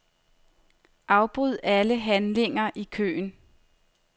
Afbryd alle handlinger i køen.